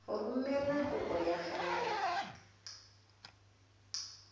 go romela kopo ya gago